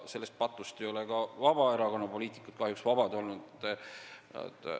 Sellest patust ei ole kahjuks ka Vabaerakonna poliitikud vabad olnud.